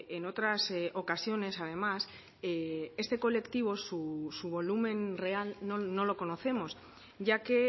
en otras ocasiones además este colectivo su volumen real no lo conocemos ya que